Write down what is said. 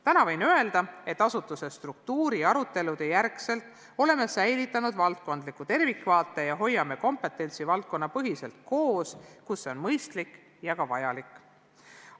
Täna võin öelda, et oleme pärast asutuse struktuuri arutelusid säilitanud valdkondliku tervikvaate ja hoiame kompetentsi valdkonnapõhiselt koos, kui see on mõistlik ja ka vajalik.